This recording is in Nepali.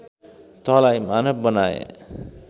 तँलाई मानव बनाएँ